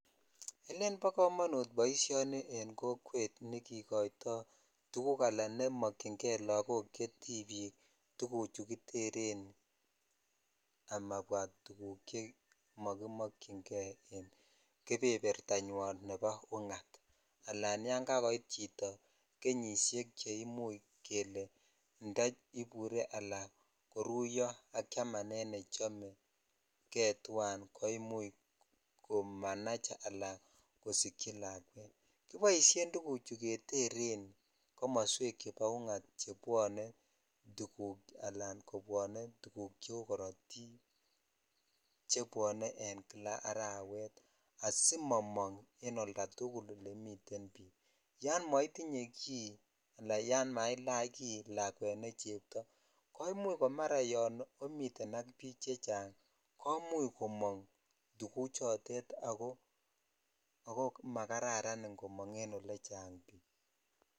Ele bo komonut boisioni en kokwet nikikoitoi tuguk ala chemokyin kei lakok che tibia tuguchu kitchen amabwaa tuguk chemokimokyin kei en kebebertanywan en ungat alan yan kakoit chito kenyishek cheimuch che inda ibure alan koruyo ak chamanet nechomekei twan komuch kosikyi lakwet kiboshen tuguchu keteren komoswek chebo ungat keteren komabwa ako kobwone tuguk cheu korotik chebwone en kila arawet asimomong en old tugul olemiten bik yon metinye ki ala yan mailach kii ne chebtoo komuch ko mara yan miten ak bik chechang komuch komong tuguchutetako ako magararan en olechang bik .